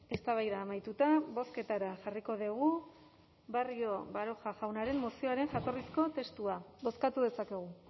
eztabaida amaituta bozketara jarriko dugu barrio baroja jaunaren mozioaren jatorrizko testua bozkatu dezakegu